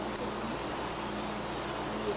É um serviço muito chato para fazer. E